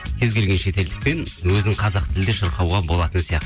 кез келген шетелдікпен өзін қазақ тілде шырқауға болатын